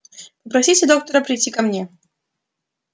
попросите доктора прийти ко мне